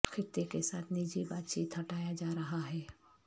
خطے کے ساتھ نجی بات چیت ہٹایا جا رہا ہے